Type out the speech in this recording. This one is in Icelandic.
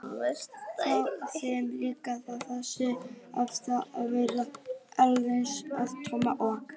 Þá var þeim líka fýrað þótt hvasst væri orðið og öldungadeild liðsins að Tomma og